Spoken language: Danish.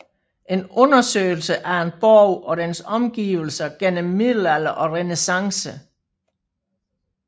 En undersøgelse af en borg og dens omgivelser gennem middelalder og renæssance